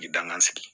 Danga sigi